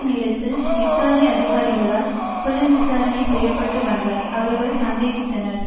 நேரத்தில் இத்தாலி அதிகாரிகளால் புலன்விசாரணை செய்ய பட்டு வந்தார் அவர்கள் சந்தேகித்தனர்